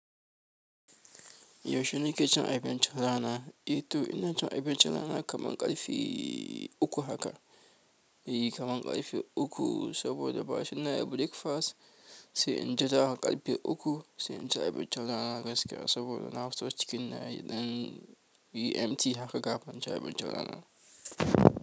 Yaushe nake cin abincin rana? Eh to ina cin abincin rana kaman ƙarfi uku haka. E kaman ƙarfe uku saboda ba cin na yi breakfast sai in jira ƙarfe uku sai in ci abincin rana EMT haka ga ban ci abincin rana.